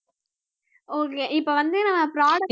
okay இப்ப வந்து நான் product